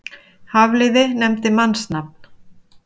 Hafliði nefndi mannsnafn.